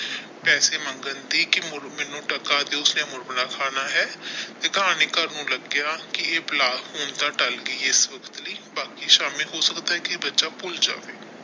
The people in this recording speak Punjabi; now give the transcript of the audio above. ਪੈਸੇ ਮੰਗਣ ਦੀ ਕੀ ਮੈਨੂੰ ਡਾਕਾ ਮੁਰਮਰਾ ਖਾਣਾ ਹੈ ਕਹਾਣੀਕਾਰ ਨੂੰ ਲੱਗਿਆ ਕਿ ਇਹ ਬਲਾ ਹੁਣ ਤੇ ਟਲ ਗਈ ਹੈ ਇਸ ਵਕਤ ਲਈ ਬਾਕੀ ਸ਼ਾਮੀ ਹੋ ਸਕਦਾ ਕੀ ਬੱਚਾ ਭੁੱਲ ਜਾਵੇ।